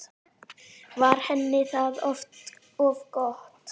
Var henni það of gott?